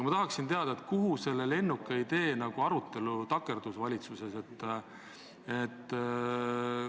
Ma tahan teada, mille taha selle lennuka idee arutelu valitsuses takerdus.